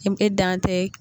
e dan tɛ